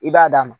I b'a d'a ma